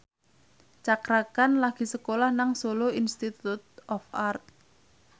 Cakra Khan lagi sekolah nang Solo Institute of Art